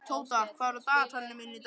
Tóta, hvað er á dagatalinu mínu í dag?